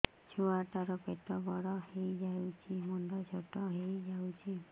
ଛୁଆ ଟା ର ପେଟ ବଡ ହେଇଯାଉଛି ମୁଣ୍ଡ ଛୋଟ ହେଇଯାଉଛି